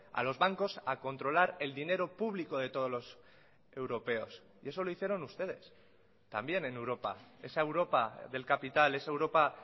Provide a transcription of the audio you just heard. a los bancos a controlar el dinero público de todos los europeos y eso lo hicieron ustedes también en europa esa europa del capital esa europa